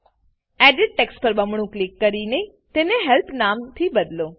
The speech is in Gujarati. એડિટ ટેક્સ્ટ પર બમણું ક્લિક કરીને તેને હેલ્પ નામથી બદલો